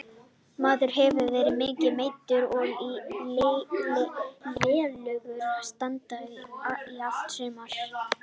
Maður hefur verið mikið meiddur og í lélegu standi í allt sumar.